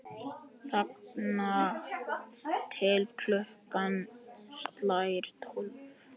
Þangað til klukkan slær tólf.